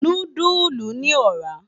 Núdùlú ni òrà